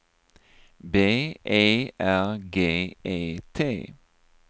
B E R G E T